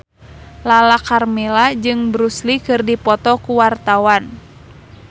Lala Karmela jeung Bruce Lee keur dipoto ku wartawan